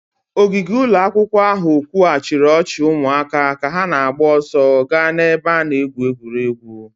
Ogige ụlọ akwụkwọ ahụ kwughachiri ọchị ụmụaka ka ha na-agba ọsọ gaa n'ebe a na-egwu egwuregwu